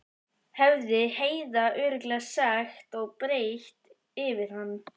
hefði Heiða örugglega sagt og breitt yfir hann.